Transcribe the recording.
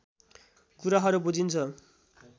कुराहरू बुझिन्छ